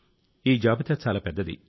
ఈ జాబితా చాలా పెద్దది